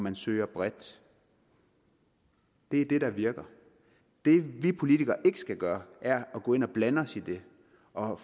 at søge bredt det er det der virker det vi politikere ikke skal gøre er at gå ind og blande os i det og